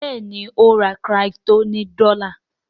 Béèni o rà crypto ní dola.